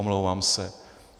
Omlouvám se.